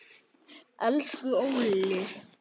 Elsku Óli.